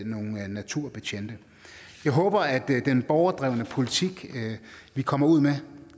naturbetjente jeg håber at den borgerdrevne politik vi kommer ud med